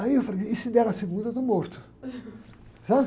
Aí eu falei, e se der na segunda, eu estou morto. Sabe?